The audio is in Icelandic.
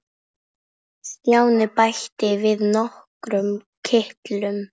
Stjáni bætti við nokkrum kitlum.